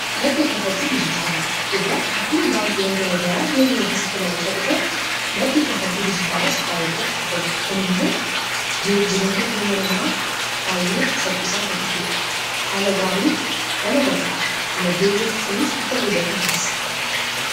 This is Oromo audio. madda kaffaltii dijitaalaa faayidaa madaalamuu hin dandeenye fi bakka bu’iinsa hin qabne qaba. Jireenya guyyaa guyyaa keessatti ta’ee, karoora yeroo dheeraa milkeessuu keessatti gahee olaanaa taphata. Faayidaan isaa kallattii tokko qofaan osoo hin taane, karaalee garaa garaatiin ibsamuu danda'a.